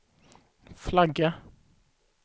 flagga